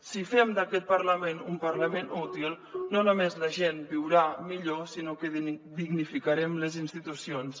si fem d’aquest parlament un parlament útil no només la gent viurà millor sinó que dignificarem les institucions